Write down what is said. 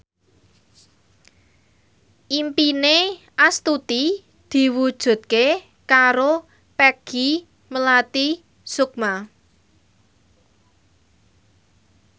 impine Astuti diwujudke karo Peggy Melati Sukma